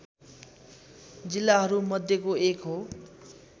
जिल्लाहरूमध्यको एक हो